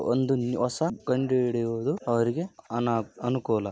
ಒಂದು ಹೊಸ ಕಂಡು ಹಿಡಿಯುವುದು ಅವರಿಗೆ ಅನುಕೂಲ.